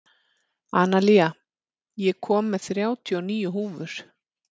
Analía, ég kom með þrjátíu og níu húfur!